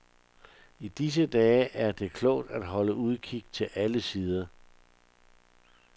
I disse dage er det klogt at holde udkig til alle sider.